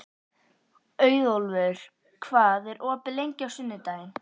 Auðólfur, hvað er opið lengi á sunnudaginn?